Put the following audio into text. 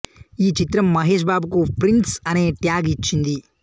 ఈ చిత్రం మహేష్ బాబుకు ప్రిన్స్ అనే ట్యాగ్ ఇచ్చింది